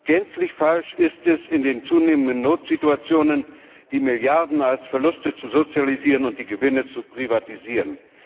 Gänzlich falsch ist es, in den immer häufigeren Notsituationen die Milliarden als Verluste zu sozialisieren und die Gewinne zu privatisieren.